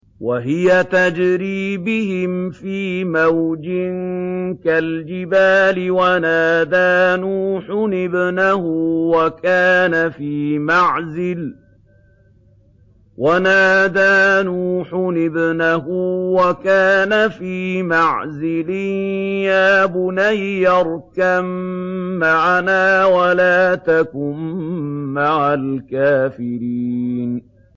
وَهِيَ تَجْرِي بِهِمْ فِي مَوْجٍ كَالْجِبَالِ وَنَادَىٰ نُوحٌ ابْنَهُ وَكَانَ فِي مَعْزِلٍ يَا بُنَيَّ ارْكَب مَّعَنَا وَلَا تَكُن مَّعَ الْكَافِرِينَ